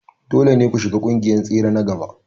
Dole ne ku shiga ƙungiyar tsere na gaba.